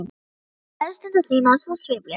Og svo stytti hann mæðustundir sínar svona sviplega.